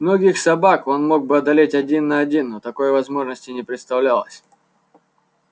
многих собак он мог бы одолеть один на один но такой возможности не представлялось